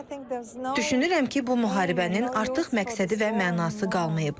Düşünürəm ki, bu müharibənin artıq məqsədi və mənası qalmayıb.